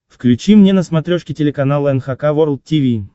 включи мне на смотрешке телеканал эн эйч кей волд ти ви